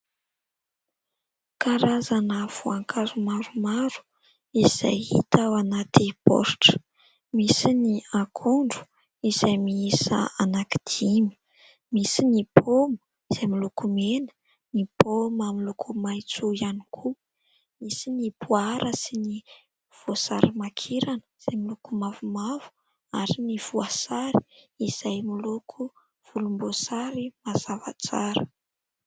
Karazana voankazo maromaro izay hita ao anaty baoritra. Misy ny akondro izay miisa anankidimy, misy ny paoma izay miloko mena, ny paoma miloko maitso ihany koa, misy ny poara sy ny voasarimakirana izay miloko mavomavo ary ny voasary izay miloko volomboasary mazava tsara.